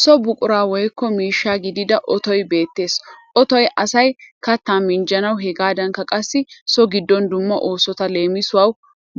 So buqura woyikko miishsha gidida otoyi beettees. Otoyi asayi kattaa minjjanawu hegaadankka qassi so giddon dumma oosota leemisuwawu